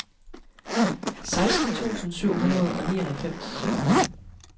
seksten tusind syv hundrede og nioghalvfems